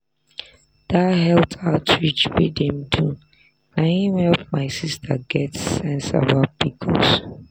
dat health outreach wey dem do na him help my sister get sense about pcos.